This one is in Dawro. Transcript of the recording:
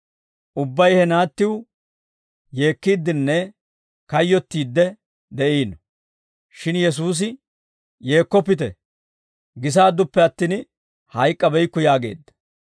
Ubbay he naattiw yeekkiiddenne kayyottiid de'iino. Shin Yesuusi, «Yeekkoppite, gisaadduppe attin hayyabeykku» yaageedda.